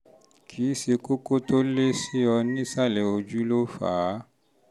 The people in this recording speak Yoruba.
kì í ṣe kókó tó lé kókó tó lé sí ọ nísàlẹ̀ ojú ló fà á